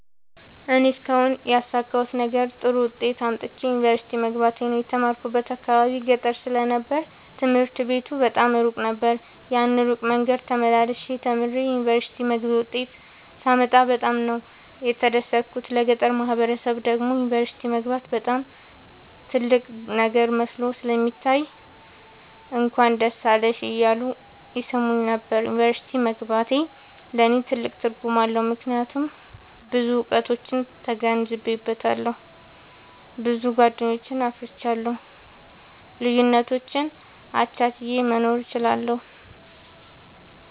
እኔ እስካሁን ያሣካሁት ነገር ጥሩ ዉጤት አምጥቼ ዩኒቨርሲቲ መግባቴ ነዉ። የተማርኩበት አካባቢ ገጠር ስለ ነበር ትምህርት ቤቱ በጣም እሩቅ ነበር። ያን እሩቅ መንገድ ተመላልሸ ተምሬ የዩኒቨርሲቲ መግቢያ ዉጤት ሳመጣ በጣም ነበር የተደሠትኩት ለገጠሩ ማህበረሠብ ደግሞ ዩኒቨርሲቲ መግባት በጣም ትልቅ ነገር መስሎ ስለሚታየዉ እንኳን ደስ አለሽ እያሉ ይሥሙኝ ነበር። ዩኒቨርሢቲ መግባቴ ለኔ ትልቅ ትርጉም አለዉ። ምክያቱም ብዙ እዉቀቶችን ተገንዝቤአለሁ። ብዙ ጎደኞችን አፍርቻለሁ። ልዩነቶችን አቻችየ መኖር እችላለሁ።